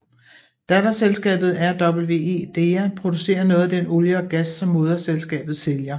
Datterselskabet RWE Dea producerer noget af den olie og gas som moderselskabet sælger